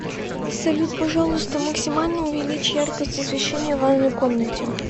салют пожалуйста максимально увеличь яркость освещения в ванной комнате